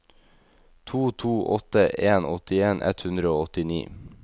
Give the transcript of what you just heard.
to to åtte en åttien ett hundre og åttini